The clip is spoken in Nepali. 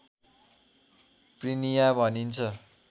प्रिनिया भनिन्छ